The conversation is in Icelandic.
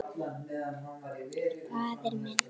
Faðir minn.